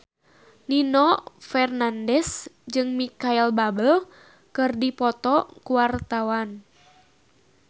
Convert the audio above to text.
Nino Fernandez jeung Micheal Bubble keur dipoto ku wartawan